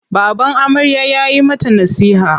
Baban amarya ya yi mata nasiha.